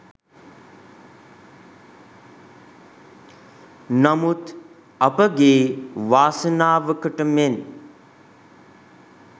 නමුත් අපගේ වාසනාවකට මෙන්